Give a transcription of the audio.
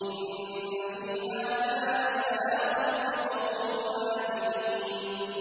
إِنَّ فِي هَٰذَا لَبَلَاغًا لِّقَوْمٍ عَابِدِينَ